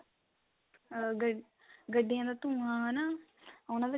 ah ਗੱਡੀਆਂ ਦਾ ਧੁੰਆ ਹਨਾ ਉਹਨਾਂ ਦਾ